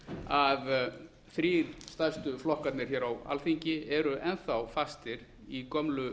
að þrír stærstu flokkarnir á alþingi eru enn þá fastir í gömlu